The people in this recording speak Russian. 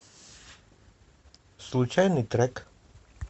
случайный трек